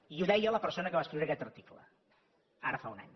i ho deia la persona que va escriure aquest article ara fa un any